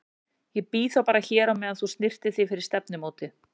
Ég bíð þá bara hér á meðan þú snyrtir þig fyrir stefnumótið.